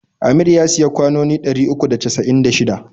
Amir ya siya kwanoni ɗari uku da casa'in da shida.